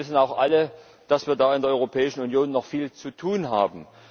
Und wir wissen auch alle, dass wir da in der Europäischen Union noch viel zu tun haben.